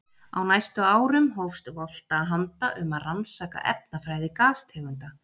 Á næstu árum hófst Volta handa um að rannsaka efnafræði gastegunda.